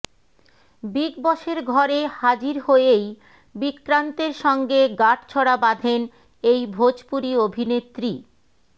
big বসের ঘরে হাজির হয়েই বিক্রান্তের সঙ্গে গাঁটছড়া বাঁধেন এই ভোজপুরি অভিনেত্রী